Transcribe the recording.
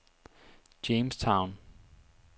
Jamestown